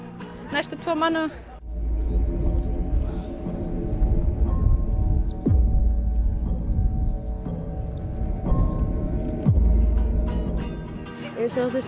næstum tvo mánuði við sáum